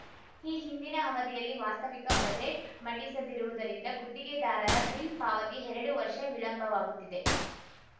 ಈ ಹಿಂದಿನ ಅವಧಿಯಲ್ಲಿ ವಾಸ್ತವಿಕ ಬಜೆಟ್‌ ಮಂಡಿಸದಿರುವುದರಿಂದ ಗುತ್ತಿಗೆದಾರರ ಬಿಲ್‌ ಪಾವತಿ ಎರಡು ವರ್ಷ ವಿಳಂಬವಾಗುತ್ತಿದೆ